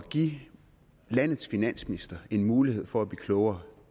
at give landets finansminister en mulighed for at blive klogere